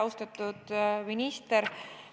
Austatud minister!